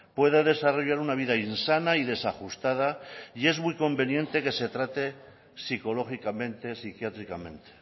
puede desarrollar una vida insana y desajustada y es muy conveniente que se trate psicológicamente psiquiátricamente